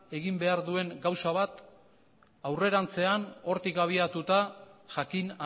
egin behar duen gauza bat aurrerantzean hortik abiatuta jakin